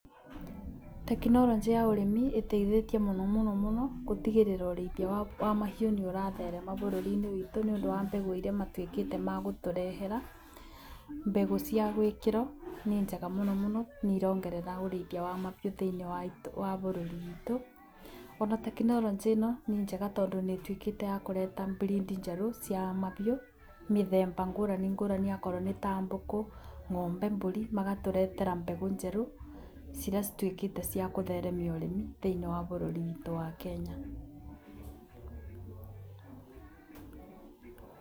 Tekinoronjĩ ya ũrĩmi ĩteithĩtie mũno mũno kũtigĩrĩra ũrĩithia wa mahiũ nĩ ũratherema bũrũri-inĩ witũ nĩ ũndũ wa mbegũ ĩrĩa matuĩkĩte magũtũrehera. Mbegũ cia gwĩkĩra nĩ njega muno mũno nĩ irongerera ũrĩithia wa mabiũ thĩinĩ wa bũrũri witũ. Ona trekinoronjĩ ĩno nĩ njega tondũ nĩ ĩtuĩkĩte yakũreta breed njerũ cia mabiũ mĩthemba ngũrani ngũrani okorwo nĩ ta ngũkũ, ng'ombe, mbũri magatũretera mbegũ njerũ, ciria cituĩkite ciakũtheremia ũrĩmi thĩinĩ wa bũruri witũ wa Kenya.